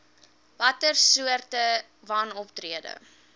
watter soorte wanoptrede